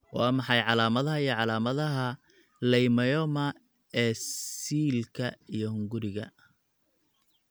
Waa maxay calaamadaha iyo calaamadaha Leiomyoma ee siilka iyo hunguriga?